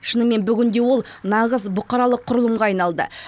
шынымен бүгінде ол нағыз бұқаралық құрылымға айналды